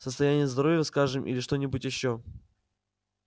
состояние здоровья скажем или что-нибудь ещё